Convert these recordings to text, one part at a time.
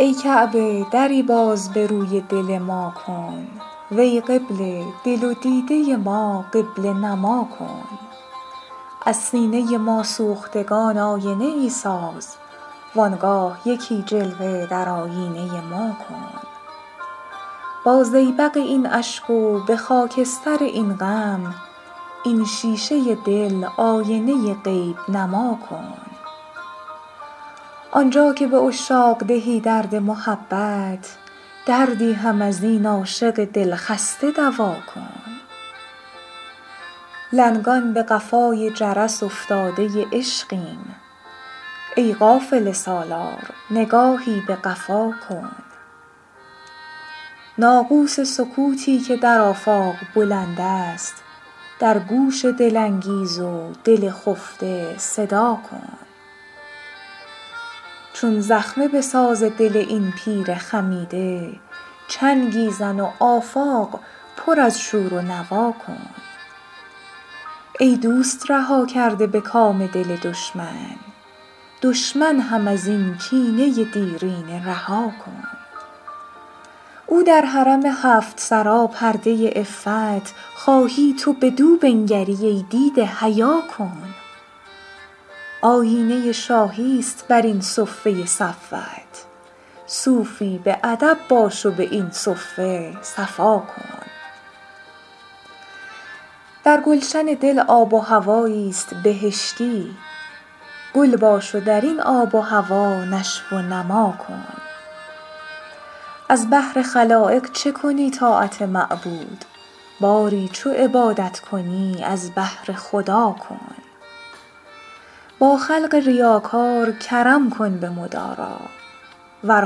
ای کعبه دری باز به روی دل ما کن وی قبله دل و دیده ما قبله نما کن از سینه ما سوختگان آینه ای ساز وانگاه یکی جلوه در آیینه ما کن با زیبق این اشک و به خاکستر این غم این شیشه دل آینه غیب نما کن آنجا که به عشاق دهی درد محبت دردی هم از این عاشق دل خسته دوا کن لنگان به قفای جرس افتاده عشقیم ای قافله سالار نگاهی به قفا کن ناقوس سکوتی که در آفاق بلند است در گوش دل انگیز و دل خفته صدا کن چون زخمه به ساز دل این پیر خمیده چنگی زن و آفاق پر از شور و نوا کن ای دوست رها کرده به کام دل دشمن دشمن هم از این کینه دیرینه رها کن او در حرم هفت سرا پرده عفت خواهی تو بدو بنگری ای دیده حیا کن آیینه شاهی ست بر این صفه صفوت صوفی به ادب باش و به این صفه صفا کن در گلشن دل آب و هوایی است بهشتی گل باش و در این آب و هوا نشو و نما کن از بهر خلایق چه کنی طاعت معبود باری چو عبادت کنی از بهر خدا کن با خلق ریاکار کرم کن به مدارا ور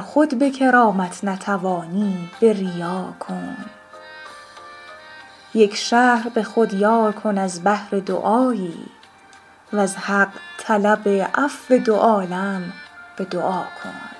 خود به کرامت نتوانی به ریا کن یک شهر به خود یار کن از بهر دعایی وز حق طلب عفو دو عالم به دعا کن